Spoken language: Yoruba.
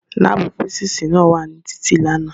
Láàbù físísì náà wà ní títì lánàá